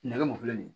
Nɛgɛ mun filɛ nin ye